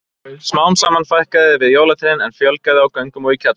Smám saman fækkaði við jólatrén en fjölgaði á göngum og í kjallara.